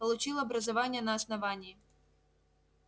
получил образование на основании